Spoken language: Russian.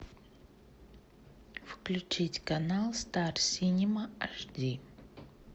включить канал стар синема аш ди